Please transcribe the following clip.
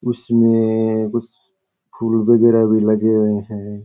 उसमे मे मे मे उस फूल बगेरा भी लगे है शायद।